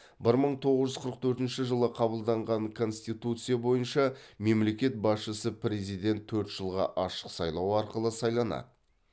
бір мың тоғыз жүз қырық төртінші жылы қабылданған конституция бойынша мемлекет басшысы президент төрт жылға ашық сайлау арқылы сайланады